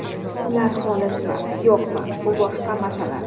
Ular xolismi, yo‘qmi, bu boshqa masala.